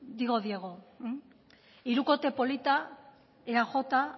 digo diego hirukote polita eaj